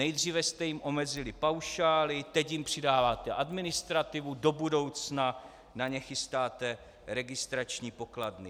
Nejdříve jste jim omezili paušály, teď jim přidáváte administrativu, do budoucna na ně chystáte registrační pokladny.